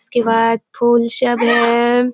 इसके बाद फूल सब है।